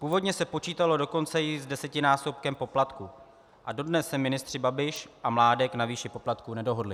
Původně se počítalo dokonce i s desetinásobkem poplatku a dodnes se ministři Babiš a Mládek na výši poplatku nedohodli.